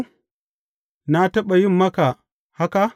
Na taɓa yin maka haka?